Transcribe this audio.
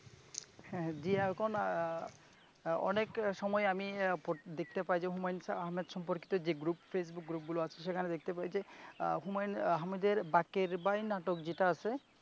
হ্যাঁ, জি এখন অনেক সময় দেখতে পাই যে হুমায়ন আহমেদ সম্পর্কিত যে গ্রুপ, ফেসবুক গ্রুপগুলো আছে সেখানে দেখতে পাই যে, হুমায়ূন আহমেদের বাকের ভাই নাটক যেটা আছে ।